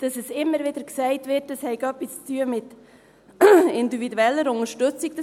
Dass immer wieder gesagt wird, das habe etwas mit individueller Unterstützung zu tun: